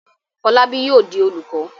Fọlábí yóò di olùkọ́?